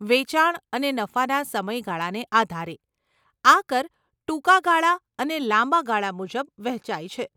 વેચાણ અને નફાના સમય ગાળાને આધારે, આ કર ટૂંકા ગાળા અને લાંબા ગાળા મુજબ વહેંચાય છે.